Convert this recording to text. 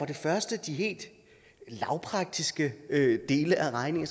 det første de helt lavpraktiske dele af regningen